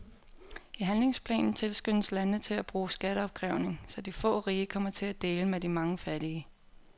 I handlingsplanen tilskyndes landene til at bruge skatteopkrævning, så de få rige kommer til at dele med de mange fattige.